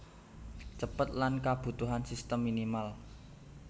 Cepet lan kabutuhan sistem minimal